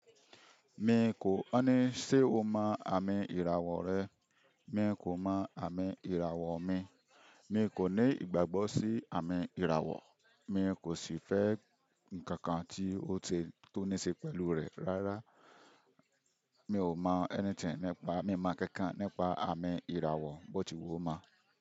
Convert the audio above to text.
Mi kò, wọ́n ní ṣé o mọ àmi ìràwọ̀ rẹ mi kò mo àmi ìràwọ̀ mi mi kò ní ìgbàgbọ́ sí àmì ìràwọ̀. Mi kò sì fẹ́ ǹkan kan tí ó, tó ní ṣe pẹ̀lúu rẹ̀ rárá. Mi ò mọ anything nípa, mi mọ nkan kan nípa àmi ìràwọ̀, bó ti wù ó mo.